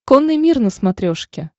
конный мир на смотрешке